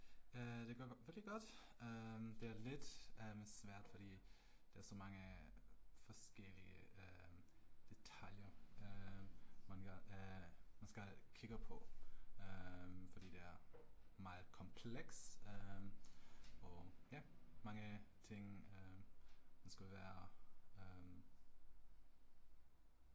Øh det går rigtig godt, det er lidt øh svært fordi, der er så mange forskellige øh detaljer øh man kan øh man skal kigge på, fordi det er meget kompleks øh og ja, mange ting øh man skulle være øh